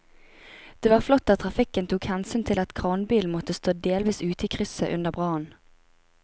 Det var flott at trafikken tok hensyn til at kranbilen måtte stå delvis ute i krysset under brannen.